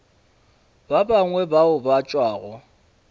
ba bangwe bao ba tšwago